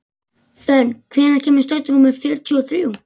Fönn, hvenær kemur strætó númer fjörutíu og þrjú?